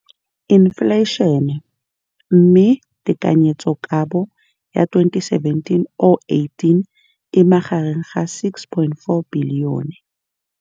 Infleišene, mme tekanyetsokabo ya 2017-18 e magareng ga R6.4 bilione.